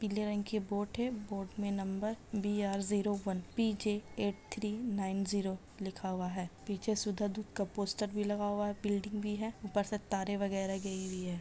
पीले रंग के बोर्ड है बोर्ड मे number BR. Zero one PJ. Eight three nine zero लिखा हुआ है पीछे सुधार दूध का पोस्टर भी लगा हुआ है बिल्डिंग भी है ऊपर से तारे वगैरा गई हुई हैं।